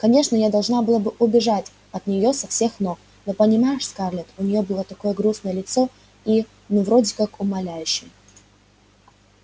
конечно я должна была бы убежать от неё со всех ног но понимаешь скарлетт у нее было такое грустное лицо и ну вроде как умоляющее